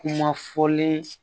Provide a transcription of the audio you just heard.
Kuma fɔlen